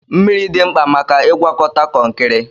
Mmiri dị mkpa maka ịgwakọta kọnkịrị.